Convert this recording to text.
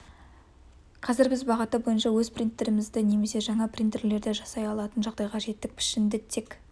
қазір біз бағыты бойынша өз принтерімізді немесе жаңа принтерлерді жасай алатын жағдайға жеттік пішінді тек